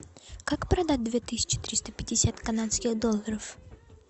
как продать две тысячи триста пятьдесят канадских долларов